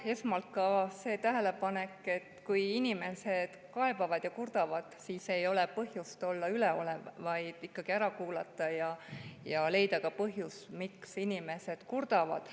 Esmalt ka see tähelepanek, et kui inimesed kaebavad ja kurdavad, siis ei ole põhjust olla üleolev, vaid tuleks nad ikkagi ära kuulata ja leida ka põhjus, miks inimesed kurdavad.